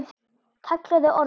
kallaði Ormur.